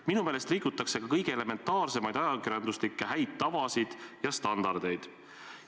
Minu meelest rikutakse ka kõige elementaarsemaid ajakirjanduslikke häid tavasid ja standardeid.